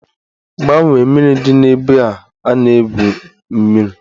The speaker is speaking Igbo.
Gbanwee mmiri dị n'ebe a na-egwu mmiri!